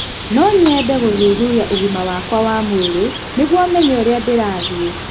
No nyende gũthuthuria ũgima wakwa wa mwĩrĩ nĩguo menye ũrĩa ndĩrathiĩ